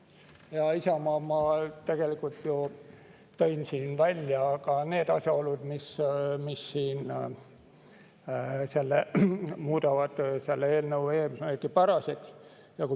Hea Isamaa, ma ju tõin siin välja ka need asjaolud, mis muudavad selle eelnõu eesmärgipäraseks.